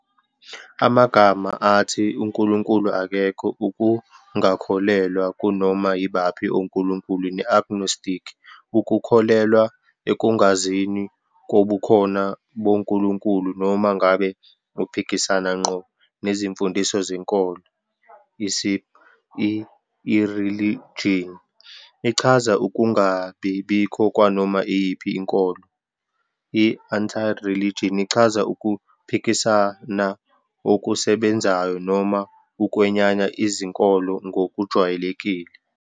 Amagama athi uNkulunkulu akekho, ukungakholelwa kunoma yibaphi onkulunkulu, ne-agnostic, ukukholelwa ekungazini kobukhona bonkulunkulu, noma ngabe aphikisana ngqo nezimfundiso zenkolo, isib. I-Irreligion ichaza ukungabi bikho kwanoma iyiphi inkolo, I-antireligion ichaza ukuphikisana okusebenzayo noma ukwenyanya izinkolo ngokujwayelekile.